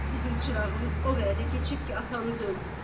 Bizim çırağımız o vaxtı keçib ki, atanız öldü.